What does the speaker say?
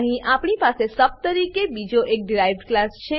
અહીં આપણી પાસે સબ તરીકે બીજો એક ડીરાઇવ્ડ ક્લાસ છે